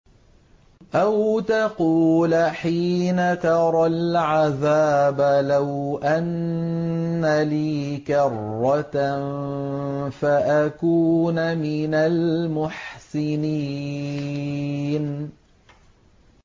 أَوْ تَقُولَ حِينَ تَرَى الْعَذَابَ لَوْ أَنَّ لِي كَرَّةً فَأَكُونَ مِنَ الْمُحْسِنِينَ